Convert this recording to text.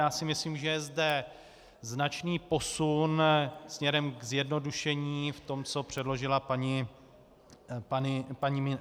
Já si myslím, že je zde značný posun směrem ke zjednodušení v tom, co předložila paní ministryně.